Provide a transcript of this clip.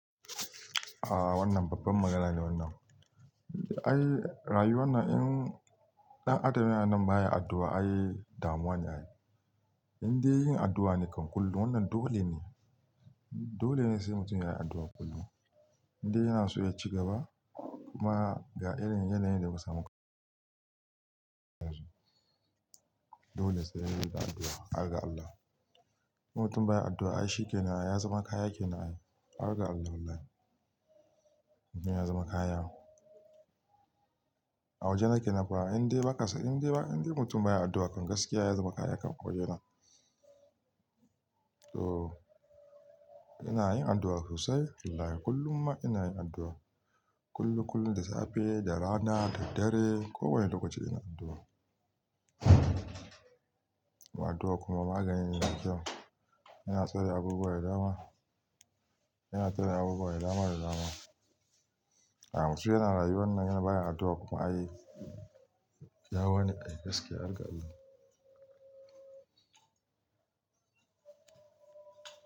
Aaa wannan babban magana ne wannan. Ai rayu wannan in ɗan adam yana nan baya addu'a, ai damuwane ai. Inde yin addu'a ne kan kullum, wannan dole ne. Dolene sai mutum yayi addu'a kullum. Inde yanaso yaci gaba ma ga irin yanayin da muka samu kammu yanzu. Dole sai yayi addu'a, harga Allah. Mutum baya addu'a ai shikenan ya zama kaya kenan ai, harga Allah. Inda ya zama kaya. A wajena kenan fa, inda ba kasa, inda ba inda mutum baya addu'a kan gaskiya ya zama kaya kan a wajena. To ina yin addu'a sosai, wallahi kullumma inayin addu'a. Kullum kullum da safe, da rana, da dare, kowane lokaci ina addu'a. Addu'a kuma maganine mai kyau. Ina tsare abubuwa da dama, ina tsare abubuwa da dama da dama. Ah mutum yana rayuwa wannan baya addu'a kuma ai yawane ai gaskiya harga Allah.